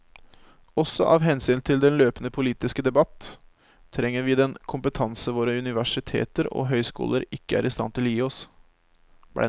Også av hensyn til den løpende politiske debatt trenger vi den kompetanse våre universiteter og høyskoler ikke er i stand til å gi oss.